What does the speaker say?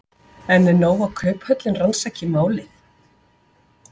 En er nóg að Kauphöllin rannsaki málið?